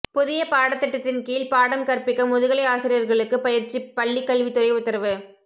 புதிய பாடத்திட்டத்தின் கீழ் பாடம் கற்பிக்க முதுகலை ஆசிரியர்களுக்கு பயற்சி பள்ளிக்கல்வி துறை உத்தரவு